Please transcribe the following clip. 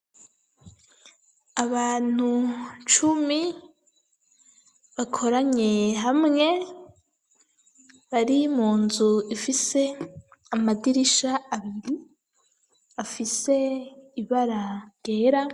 Abantu cumi, bakoranye hamwe, bari mu nzu, ifise amadirisha abiri, afise ibara ryera.